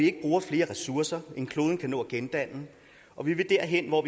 ikke bruges flere ressourcer end kloden kan nå at gendanne og vi vil derhen hvor